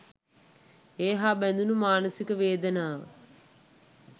ඒ හා බැඳුනු මානසික වේදනාව